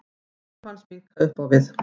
Áhrif hans minnka upp á við.